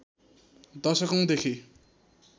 दशकौंदेखि